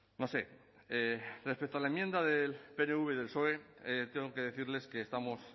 no sé respecto a la enmienda del pnv y del psoe tengo que decirles que estamos